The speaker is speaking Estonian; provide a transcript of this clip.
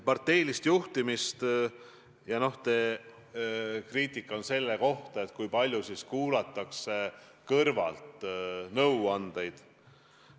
Te küsisite kriitiliselt selle kohta, kui palju ikkagi kuulatakse kõrvalt nõuandeid.